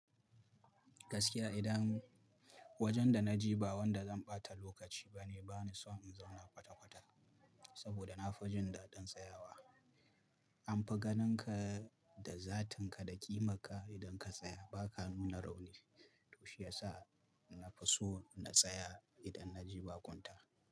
Gaskiya idan wajen da na je ba wanda zan ɓata lokaci bane, bani so in zauna kwata kwata saboda na fi jin daɗin tsayawa. An fi ganinka da zatinka da kimarka idan ka tsaya baka nuna rauni. To shi yasa na fi so na tsaya idan na je bakunta.